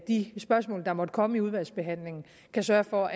de spørgsmål der måtte komme i udvalgsbehandlingen kan sørge for